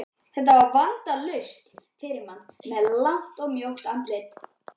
Þetta er vandalaust fyrir mann með langt og mjótt andlit.